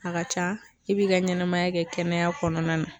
A ka ca i b'i ka ɲɛnɛmaya kɛ kɛnɛya kɔnɔna na